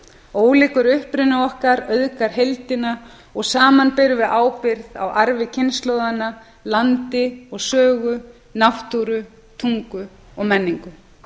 ólíkur uppruni okkar auðgar heildina og saman berum við ábyrgð á arfi kynslóðanna landi og sögu náttúru tungu og menningu